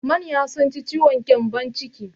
Manya sun ci ciwon gyambon ciki.